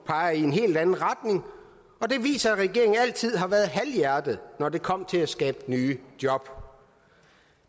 peger i en helt anden retning og det viser at regeringen altid har været halvhjertet når det kom til at skabe nye job